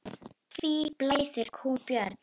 Hví blæðir kúm, Björn?